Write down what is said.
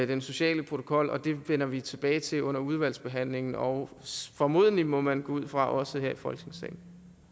den sociale protokol det vender vi tilbage til under udvalgsbehandlingen og formodentlig må man gå ud fra også her i folketingssalen